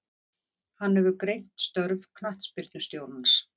Hann hefur greint störf knattspyrnustjórans.